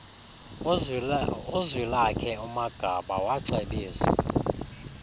uzwilakhe umagaba wacebisa